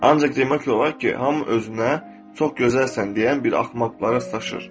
Ancaq demək olar ki, hamı özünə çox gözəlsən deyən bir axmaqlara rastlaşır.